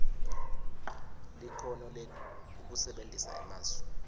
likhono lekusebentisa emasu